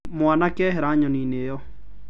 Mwanake ehera Nyoni-inĩ ĩyo.